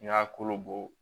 N y'a kolo bɔ